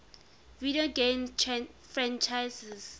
video game franchises